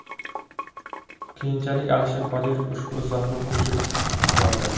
Keyinchalik Alisher Qodirov ushbu izohni o‘chirib yubordi.